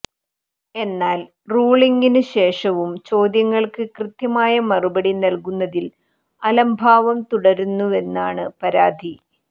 എന്നാൽ റൂളിങ്ങിനുശേഷവും ചോദ്യങ്ങൾക്ക് കൃത്യമായ മറുപടി നൽകുന്നതിൽ അലംഭാവം തുടരുന്നുവെന്നാണ് പരാതി